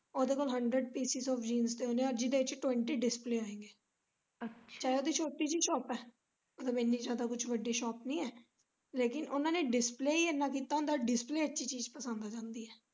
ਉਦੇ ਕੋਲ hundred pieces of jeans ਦੇ ਉਨੇ ਅੱਜ ਹੀ ਵਿੱਚ twenty display ਆਈਆਂ ਹੈ ਤੇ ਛੋਟੀ ਜੇਹੀ shop ਐ ਮਤਲਬ ਏਨੀ ਜਿਆਦਾ ਵੱਡੀ shop ਨੀ ਐ ਲੇਕਿਨ ਉਨਾਂ ਨੇ display ਹੀ ਏਨਾ ਕੀਤਾ ਹੁੰਦਾ display ਚ ਹੀ ਚੀਜ ਪਸੰਦ ਆ ਜਾਂਦੀ ਐ।